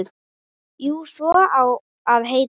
Jú, svo á að heita.